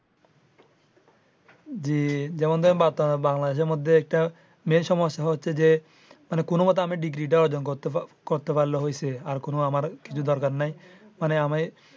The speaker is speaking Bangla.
জি যেমন ধরেন বাংলাদেশের মধ্যে একটা main সমস্যা হচ্ছে যে কোনো ভাবে আমি ডিগ্রীটা অর্জন করতে পারলেই হয়েছে। আর কোনো আমার কিছু দরকার নাই মানে আমি।